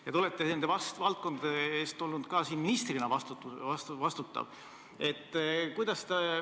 Te olete nende valdkondade eest ministrina vastutav olnud.